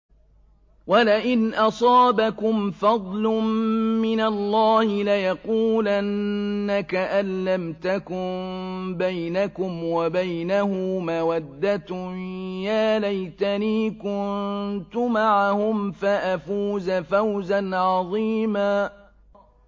وَلَئِنْ أَصَابَكُمْ فَضْلٌ مِّنَ اللَّهِ لَيَقُولَنَّ كَأَن لَّمْ تَكُن بَيْنَكُمْ وَبَيْنَهُ مَوَدَّةٌ يَا لَيْتَنِي كُنتُ مَعَهُمْ فَأَفُوزَ فَوْزًا عَظِيمًا